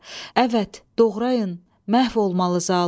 Əvət, doğrayın, məhv olmalı zalım.